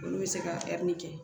Olu bɛ se ka kɛ